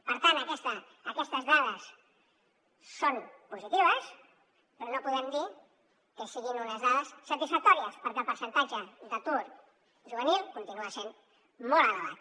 per tant aquestes dades són positives però no podem dir que siguin unes dades satisfactòries perquè el percentatge d’atur juvenil continua sent molt elevat